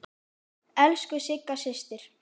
Elsku Sigga systir.